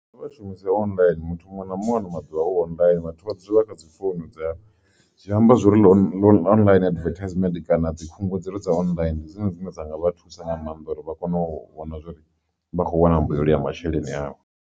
Kha vha shumise online muthu muṅwe na muṅwe ano maḓuvha online vhathu vha dzule vha kha dzi founu dza, zwi amba zwori online advertisement kana dzi khungedzelo dza online ndi dzone dzine dza nga vha thusa nga maanḓa uri vha kone u vhona zwori vha kho wana mbuyelo ya masheleni awe.